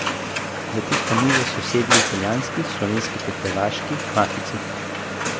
Za tisto mizo so sedeli italijanski, slovenski ter hrvaški mafijci.